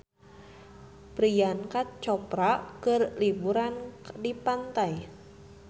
Priyanka Chopra keur liburan di pantai